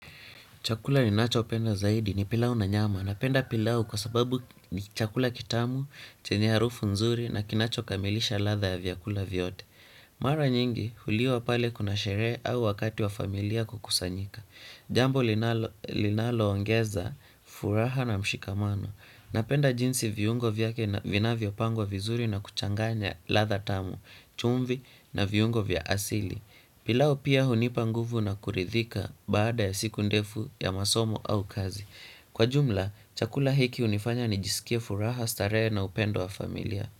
Chakula linachopenda zaidi ni pilau na nyama. Napenda pilau kwa sababu ni chakula kitamu, chenya harufu nzuri na kinachokamilisha ladha ya vyakula vyote. Mara nyingi huliwa pale kuna sherehe au wakati wa familia kukusanyika. Jambo linaloongeza furaha na mshikamano. Napenda jinsi viungo vyake na vinavyopangwa vizuri na kuchanganya ladha tamu, chumvi na viungo vya asili. Pilau pia hunipa nguvu na kuridhika baada ya siku ndefu ya masomo au kazi. Kwa jumla, chakula hiki hunifanya nijisikie furaha starehe na upendo wa familia.